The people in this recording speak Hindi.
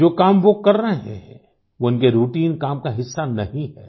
जो काम वो कर रहे हैं वो इनके राउटाइन काम का हिस्सा नहीं है